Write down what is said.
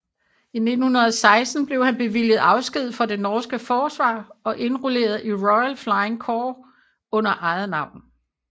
I 1916 blev han bevilget afsked fra det norske forsvar og indrulleret i Royal Flying Corps under eget navn